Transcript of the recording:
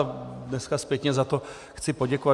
A dneska zpětně za to chci poděkovat.